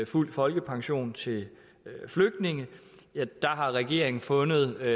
fuld folkepension til flygtninge der har regeringen fundet